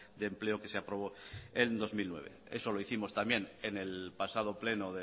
de empleo que se aprobó en dos mil nueve eso lo hicimos también en el pasado pleno